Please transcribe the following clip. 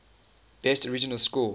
best original score